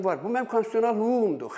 Bu mənim konstitusional hüququmdur.